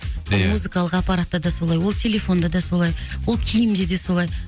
ия музыкалық аппаратта да солай ол телефонда да солай ол киімде де солай